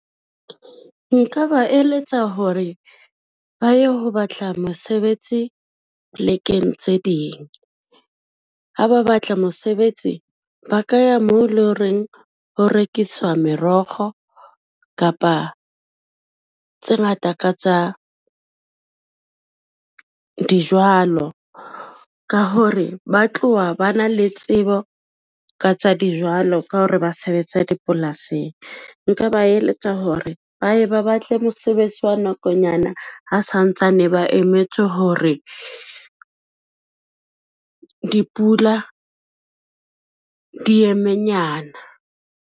Nka ba eletsa hore ba ye ho batla mosebetsi plekeng tse ding. Ha ba batla mosebetsi, ba ka ya moo e lo reng ho rekiswa morokgo kapa tse ngata ka tsa dijwalo, ka hore ba tlowa ba na le tsebo ka tsa dijwalo ka ho re ba sebetsa dipolasing. Nka ba eletsa hore ba ye ba batle mosebetsi wa nakonyana ha santsane ba emetse hore dipula di eme nyana.